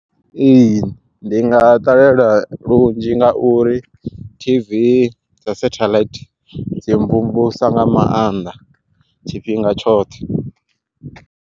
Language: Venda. Ee ndi nga ṱalela lunzhi nga uri tv dza setheḽaithi, dzi mvumvusa nga mannḓa tshifhinga tshoṱhe.